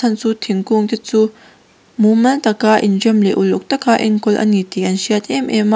chu thingkung te chu mumal tak a inrem leh uluk tak a enkawl a ni tih an hriat em em a.